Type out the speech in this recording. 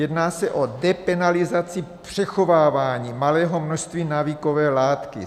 Jedná se o depenalizaci přechovávání malého množství návykové látky.